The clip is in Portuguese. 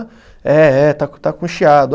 É, é, está com está com chiado.